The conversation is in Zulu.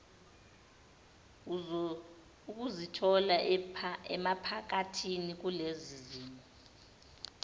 ukuzithola emaphakathi kulezizimo